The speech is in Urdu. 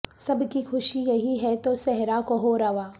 سب کی خوشی یہی ہے تو صحرا کو ہو رواں